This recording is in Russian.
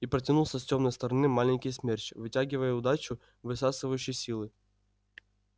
и протянулся с тёмной стороны маленький смерч вытягивающий удачу высасывающий силы